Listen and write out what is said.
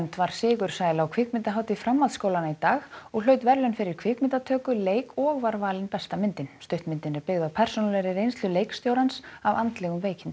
var sigursæl á kvikmyndahátíð framhaldsskólanna í dag og hlaut verðlaun fyrir kvikmyndatöku leik og var valin besta myndin stuttmyndin er byggð á persónulegri reynslu leikstjórans af andlegum veikindum